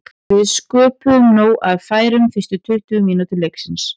Við sköpuðum nóg af færum fyrstu tuttugu mínútur leiksins.